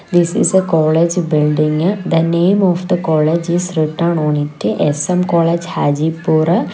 this is a college building the name of the college is written on it S_M college hajipur.